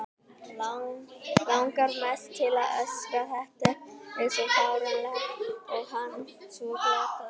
Langar mest til að öskra, þetta er svo fáránlegt og hann svo glataður.